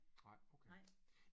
Nej okay